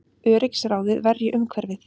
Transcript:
Öryggisráðið verji umhverfið